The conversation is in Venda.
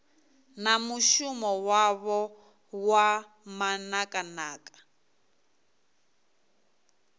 na mushumo wavho wa manakanaka